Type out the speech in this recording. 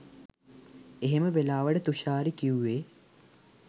එහෙම වෙලාවට තුෂාරි කි‍ව්වෙ